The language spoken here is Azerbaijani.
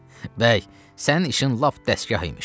Bəy, sənin işin lap dəstgah imiş.